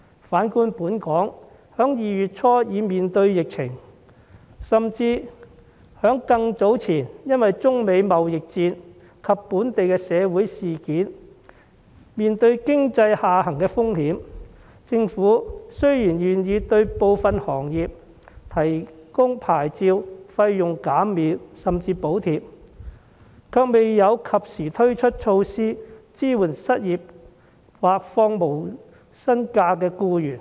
反觀香港在2月初已爆發疫情，甚至更早前因為中美貿易戰及本地的社會事件，已面對經濟下行的風險，雖然政府願意對部分行業提供牌照費用減免甚至補貼，卻未有及時推出措施支援失業或放取無薪假的僱員。